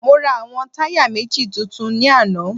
Mo ra àwọn táyà méjì tuntun ní àná